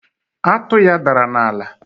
atụ ya dara n'ala